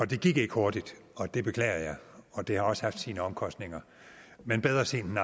det gik ikke hurtigt og det beklager jeg og det har også haft sine omkostninger men bedre sent